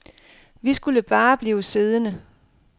Vi skulle bare blive siddende.